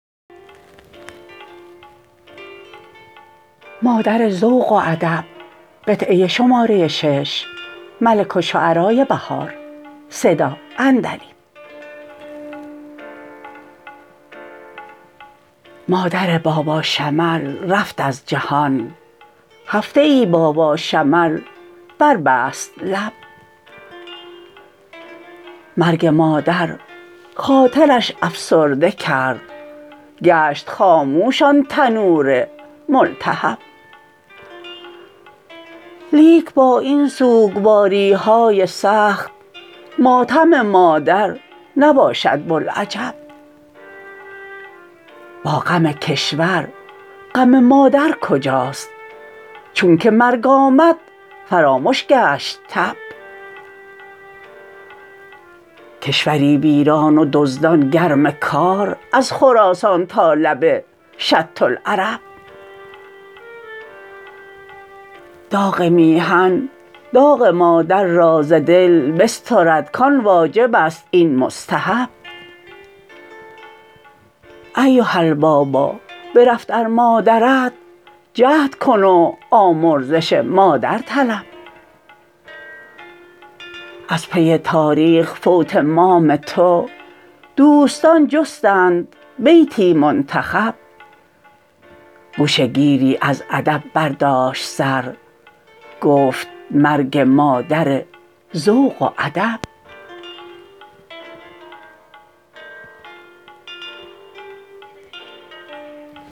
مادر باباشمل رفت از جهان هفته ای باباشمل بربست لب مرگ مادر خاطرش افسرده کرد گشت خاموش آن تنور ملتهب لیک با این سوگواری های سخت ماتم مادر نباشد بلعجب با غم کشور غم مادرکجاست چون که مرگ آمد فرامش گشت تب کشوری ویران و دزدان گرم کار از خراسان تا لب شط العرب داغ میهن داغ مادر را ز دل بسترد کان واجبست این مستحب ایها البابا برفت ار مادرت جهد کن و آمرزش مادر طلب از پی تاریخ فوت مام تو دوستان جستند بیتی منتخب گوشه گیری از ادب برداشت سر گفت مرگ مادر ذوق و ادب